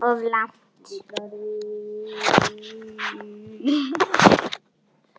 Of langt.